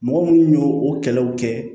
Mɔgɔ munnu y'o o kɛlɛw kɛ